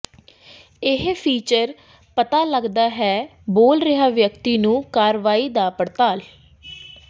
ਇਹ ਫੀਚਰ ਪਤਾ ਲੱਗਦਾ ਹੈ ਬੋਲ ਰਿਹਾ ਵਿਅਕਤੀ ਨੂੰ ਕਾਰਵਾਈ ਦੀ ਪੜਤਾਲ